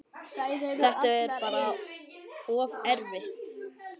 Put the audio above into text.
Þetta er bara of erfitt.